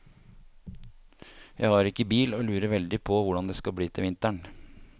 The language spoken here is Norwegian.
Jeg har ikke bil og lurer veldig på hvordan det skal bli til vinteren.